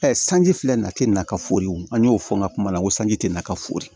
sanji filɛ nin na te na ka foriw an y'o fɔ n ka kuma la kosɛ te na ka fori